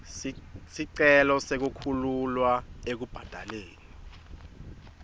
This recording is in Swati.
sicelo sekukhululwa ekubhadaleni